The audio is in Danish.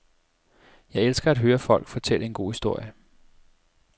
Jeg elsker at høre folk fortælle en god historie.